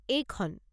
এইখন!